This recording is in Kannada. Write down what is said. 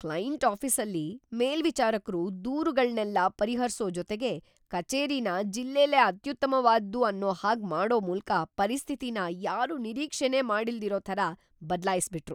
ಕ್ಲೈಂಟ್ ಆಫೀಸಲ್ಲಿ ಮೇಲ್ವಿಚಾರಕ್ರು ದೂರ್‌ಗಳ್ನೆಲ್ಲ ಪರಿಹರ್ಸೋ ಜೊತೆಗೆ ಕಚೇರಿನ ಜಿಲ್ಲೆಲೇ ಅತ್ಯುತ್ತಮ್ವಾದ್ದು ಅನ್ನೋ ಹಾಗ್‌ ಮಾಡೋ ಮೂಲ್ಕ ಪರಿಸ್ಥಿತಿನ ಯಾರೂ ನಿರೀಕ್ಷೆನೇ ಮಾಡಿಲ್ದಿರೋ ಥರ ಬದ್ಲಾಯಿಸ್ಬಿಟ್ರು.